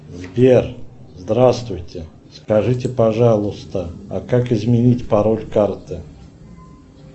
сбер здравствуйте скажите пожалуйста а как изменить пароль карты